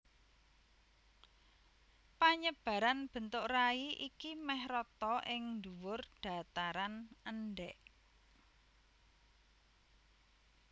Panyebaran bentuk rai iki mèh rata ing dhuwur dhataran endhèk